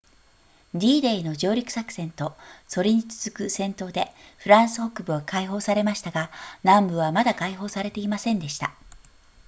d デイの上陸作戦とそれに続く戦闘でフランス北部は解放されましたが南部はまだ解放されていませんでした